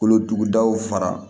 Kolotugudaw fara